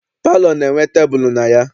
Palọ na- enwe tebulu na ya.